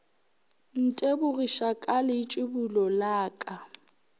ntebogiša ka leitšibulo la ka